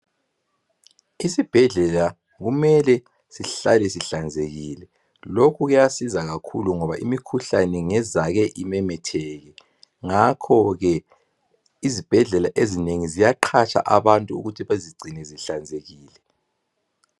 Isibhedlela kumele sihlale sihlanzekile. Lokhu kuyabiza kakhulu ngoba imikhuhlane ngezake imemetheke. Ngakho ke izibhedlela ezinengi ziyaqhatsha abantu ukuthi bezigcine zihlanzekile.